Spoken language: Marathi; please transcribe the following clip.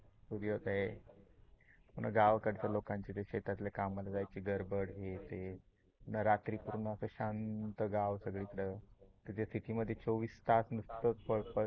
सूर्योदय. पुन्हा गावाकडच्या लोकांची शेतातल्या कामाला जायची गडबड हे ते, रात्री च अस गाव शांत गाव सगळीकडे. तुमच्या सीटी मध्ये चोवीस तास नुसताच पळपळ